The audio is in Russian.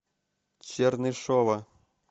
чернышова